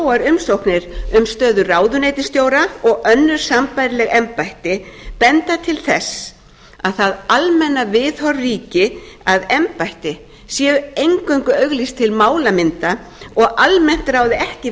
óvenjufáar umsóknir um stöður ráðuneytisstjóra og önnur sambærileg embætti benda til þess að það almenna viðhorf ríki að embætti séu eingöngu auglýst til málamynda og almennt ráði ekki